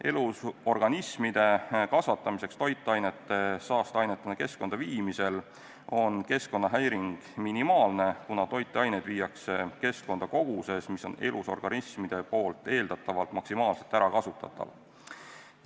Elusorganismide kasvatamiseks toitainete saasteainetena keskkonda viimisel on keskkonnahäiring minimaalne, kuna toitained viiakse keskkonda koguses, mis on elusorganismide poolt eeldatavalt maksimaalselt ärakasutatavad.